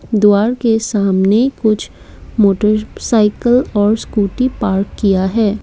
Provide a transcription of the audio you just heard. द्वारा के सामने कुछ मोटरसाइकल और स्कूटी पार्क किया है।